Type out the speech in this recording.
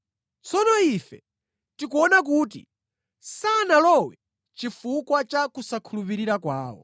Tsono ife tikuona kuti sanalowe chifukwa cha kusakhulupirika kwawo.